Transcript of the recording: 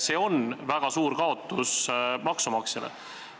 See on maksumaksjale väga suur kaotus.